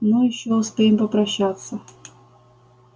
ну ещё успеем попрощаться